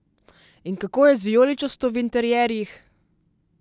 In kako je z vijoličasto v interierjih?